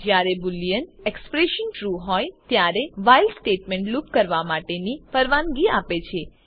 જયારે boolean expression true હોય ત્યારે વ્હાઇલ સ્ટેટમેન્ટ લુપ કરવા માટેની પરવાનગી આપે છે